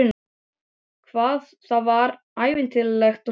Hvað það var ævintýralegt og hlýtt.